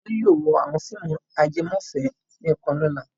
Tolú yóò wo àwọn fíìmù ajẹmọ́fẹ̀ẹ́ nìkan lọ́la.